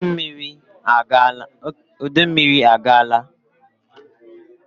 Udummiri agaala